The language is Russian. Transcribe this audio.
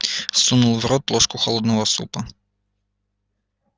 сунул в рот ложку холодного супа